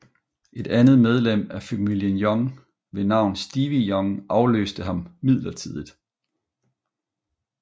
Et andet medlem af familien Young ved navn Stevie Young afløste ham midlertidigt